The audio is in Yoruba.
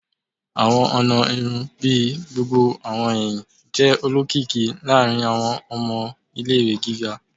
Awọn ọna irun bii gbogbo awọn ẹhin jẹ olokiki laarin awọn ọmọ ile-iwe giga